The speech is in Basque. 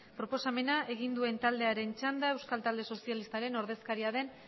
proposamena egin duen taldearen txanda euskal talde sozialistaren ordezkaria den